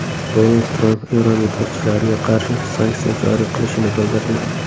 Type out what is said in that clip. Donald Tramp Eron yetakchilariga qarshi sanksiya joriy qilishini bildirdi.